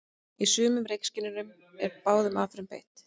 Í sumum reykskynjurum er báðum aðferðum beitt.